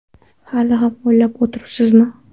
Hali ham o‘ylab o‘tiribsizmi ?